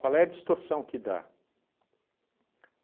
Qual é a distorção que dá?